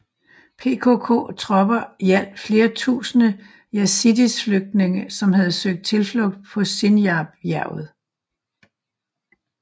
PKK tropper hjalp flere tusinde Yazidis flygtninge som havde søgt tilflugt på Sinjar bjerget